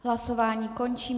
Hlasování končím.